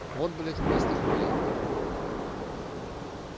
вот блять квест ахуенный